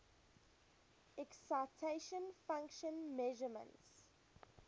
excitation function measurements